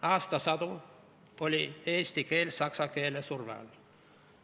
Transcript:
Aastasadu oli eesti keel saksa keele surve all.